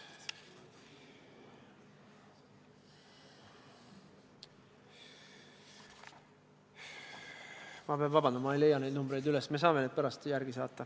Ma pean vabandust paluma, ma ei leia neid numbreid praegu üles, aga me saame need pärast järele saata.